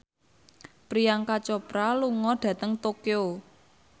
Priyanka Chopra lunga dhateng Tokyo